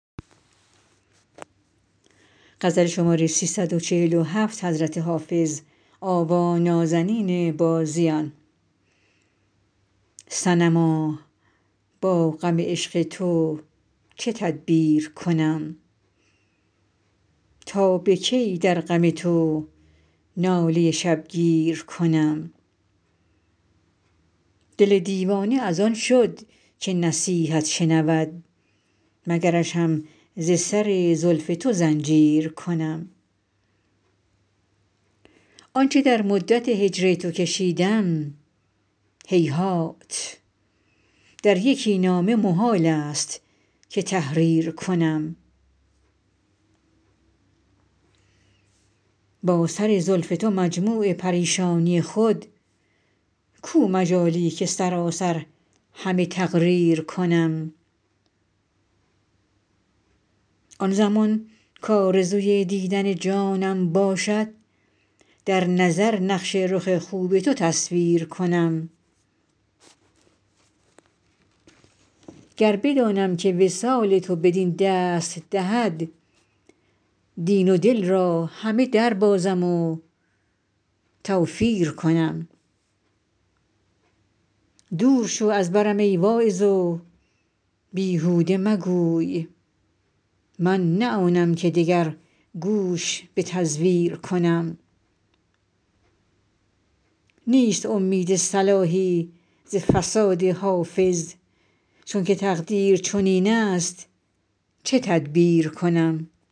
صنما با غم عشق تو چه تدبیر کنم تا به کی در غم تو ناله شبگیر کنم دل دیوانه از آن شد که نصیحت شنود مگرش هم ز سر زلف تو زنجیر کنم آن چه در مدت هجر تو کشیدم هیهات در یکی نامه محال است که تحریر کنم با سر زلف تو مجموع پریشانی خود کو مجالی که سراسر همه تقریر کنم آن زمان کآرزوی دیدن جانم باشد در نظر نقش رخ خوب تو تصویر کنم گر بدانم که وصال تو بدین دست دهد دین و دل را همه دربازم و توفیر کنم دور شو از برم ای واعظ و بیهوده مگوی من نه آنم که دگر گوش به تزویر کنم نیست امید صلاحی ز فساد حافظ چون که تقدیر چنین است چه تدبیر کنم